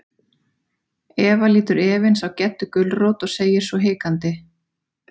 Eva lítur efins á Geddu gulrót og segir svo hikandi.